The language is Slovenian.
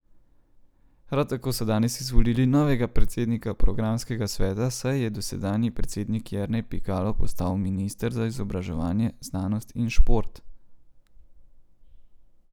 Prav tako so danes izvolili novega predsednika programskega sveta, saj je dosedanji predsednik Jernej Pikalo postal minister za izobraževanje, znanost in šport.